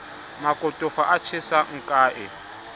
makotofa a tjhesang ke a